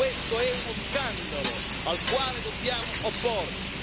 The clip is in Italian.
Questo è uno scandalo al quale dobbiamo opporci!